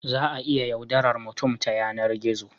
Za a iya yaudarar mutum ya yanar gizo